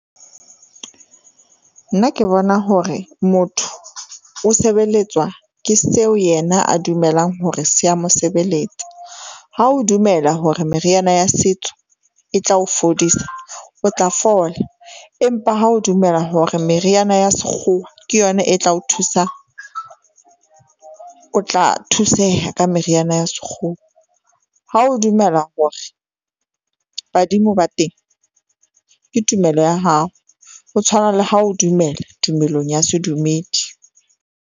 Nna ke bona hore motho o sebeletswa ke seo yena a dumelang hore se ya mo sebeletsa. Ha o dumela hore meriana ya setso e tla o fodisa, o tla fola, empa ha o dumela hore meriana ya sekgowa ke yona e tla o thusa, o tla thuseha ka meriana ya sekgowa. Ha o dumela hore badimo ba teng ke tumelo ya hao, ho tshwana le ha o dumela tumelong ya sedumedi.